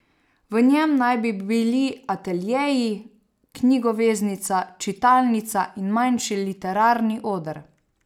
V njem naj bi bili ateljeji, knjigoveznica, čitalnica in manjši literarni oder.